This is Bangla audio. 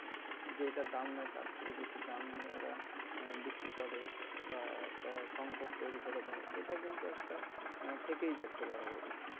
যেইটা দাম নাই তার থেকে বেশি দাম নিয়ে ওরা আহ বিক্রি করে বা একটা সংকট তৈরি করে দেয় এটা কিন্তু একটা আহ থেকেই যাচ্ছে বরাবরই